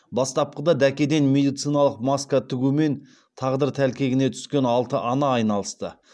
бастапқыда дәкеден медициналық маска тігумен тағдыр тәлкегіне түскен алты ана айналысты